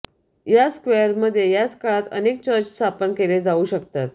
याच स्क्वेअरमध्ये याच काळात अनेक चर्च स्थापन केले जाऊ शकतात